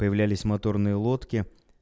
появлялись моторные лодки